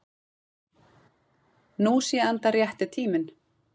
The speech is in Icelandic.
Nú sé enda rétti tíminn